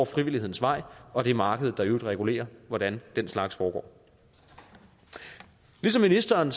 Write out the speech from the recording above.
frivillighedens vej og det er markedet der i øvrigt regulerer hvordan den slags foregår ligesom ministeren